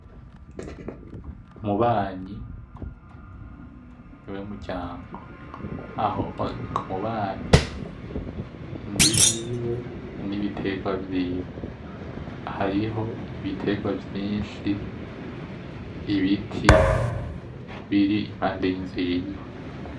Umubanyi ni we muryango. Aho ni ku mubanyi, inzu yiwe n'ibiterwa vyiwe. Hariho ibiterwa vyinshi, ibiti biri impande y'inzu yiwe.